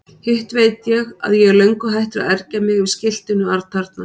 Hitt veit ég að ég er löngu hættur að ergja mig yfir skiltinu atarna.